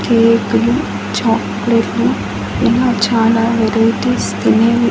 కేకులు చాక్లెట్లు ఇలా చాలా వెరైటీస్ తినేవి--